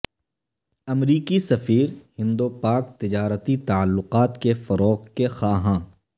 امریکی سفیر ہند و پاک تجارتی تعلقات کے فروغ کے خواہاں